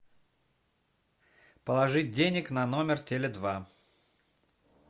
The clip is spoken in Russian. положить денег на номер теле два